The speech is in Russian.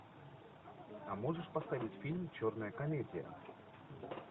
а можешь поставить фильм черная комедия